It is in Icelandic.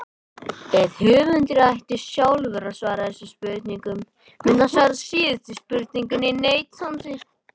Ef höfundur ætti sjálfur að svara þessum spurningum myndi hann svara síðustu spurningunni neitandi.